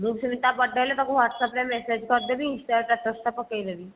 ମୁଁ ବି ସେମିତି ତା birthday ହେଲେ ତାକୁ whats-app ରେ message କରିଦେବି insta ରେ status ଟା ପକେଇଦେବି